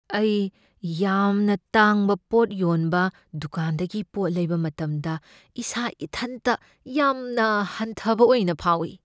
ꯑꯩ ꯌꯥꯝꯅ ꯇꯥꯡꯕ ꯄꯣꯠ ꯌꯣꯟꯕ ꯗꯨꯀꯥꯟꯗꯒꯤ ꯄꯣꯠ ꯂꯩꯕ ꯃꯇꯝꯗ ꯏꯁꯥ ꯏꯊꯟꯇ ꯌꯥꯝꯅ ꯍꯟꯊꯕ ꯑꯣꯏꯅ ꯐꯥꯎꯢ꯫